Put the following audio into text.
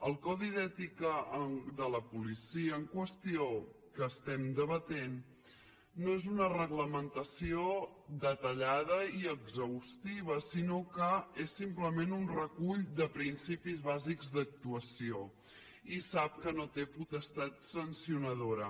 el codi d’ètica de la policia en qüestió que estem debatent no és una reglamentació detallada i exhaustiva sinó que és simplement un recull de principis bàsics d’actuació i sap que no té potestat sancionadora